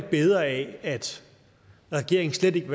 bedre af at regeringen slet ikke